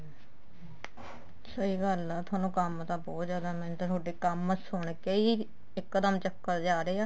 ਸਹੀ ਗੱਲ ਏ ਤੁਹਾਨੂੰ ਕੰਮ ਤਾਂ ਬਹੁਤ ਜਿਆਦਾ ਨੇ ਤੁਹਾਡੇ ਕੰਮ ਸੁਣ ਕੇ ਹੀ ਇੱਕ ਦਮ ਚੱਕਰ ਜਾ ਆ ਰਿਹਾ